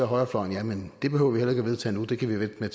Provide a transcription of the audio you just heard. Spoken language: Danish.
højrefløjen jamen det behøver vi heller ikke at vedtage endnu det kan vi vente med